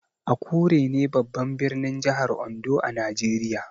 Akure ne babban birnin jihar Ondo a Najeriya.